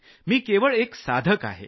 मी केवळ सराव करणारा आहे